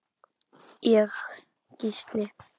Ég: Gísli.